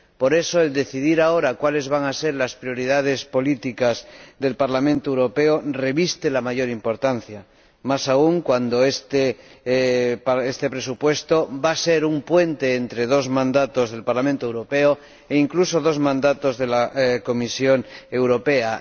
Por eso, el decidir ahora cuáles van a ser las prioridades políticas del Parlamento Europeo reviste la mayor importancia, más aún cuando este presupuesto va a ser un puente entre dos mandatos del Parlamento Europeo, e incluso entre dos mandatos de la Comisión Europea.